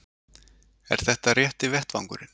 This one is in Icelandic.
Er þetta rétti vettvangurinn?